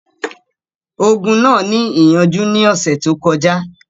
Ogun náà ní ìyànjú ní ọ̀sẹ̀ tó kọjá.